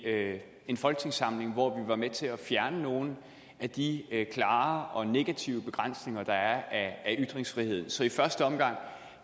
en folketingssamling hvor vi var med til at fjerne nogle af de klare og negative begrænsninger der er af ytringsfriheden så i første omgang